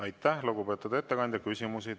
Aitäh, lugupeetud ettekandja!